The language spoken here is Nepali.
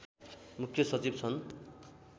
मुख्य सचिव छन्